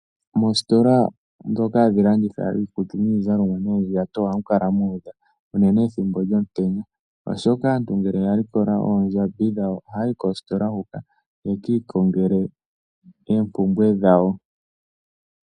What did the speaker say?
Moositola ndhoka hadhi landithwa iikutu niizalomwa noondjato ohamu kala mu udha unene ethimbo lyomutenya, oshoka aantu ngele ya likola oondjambi dhawo ohaya yi koositola huka ye ki ikongele oompumbwe dhawo.